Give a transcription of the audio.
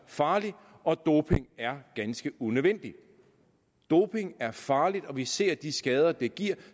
farligt og at doping er ganske unødvendigt doping er farligt og vi ser de skader det giver